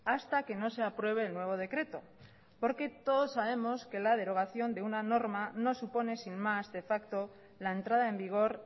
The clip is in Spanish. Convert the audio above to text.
hasta que no se apruebe el nuevo decreto porque todos sabemos que la derogación de una norma no supone sin más de facto la entrada en vigor